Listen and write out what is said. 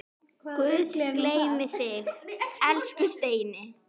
Guð geymi þig, elsku Steini.